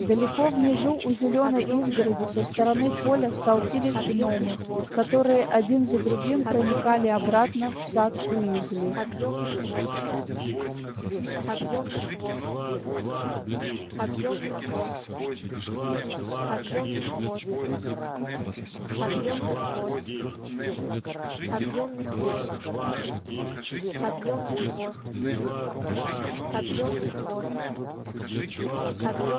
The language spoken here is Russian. далеко внизу у зелёной изгороди со стороны поля столпились гномы которые один за другим проникали обратно в сад уизли